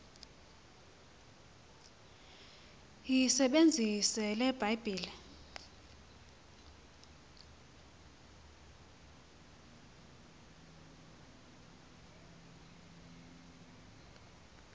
yisebenzise le bhayibhile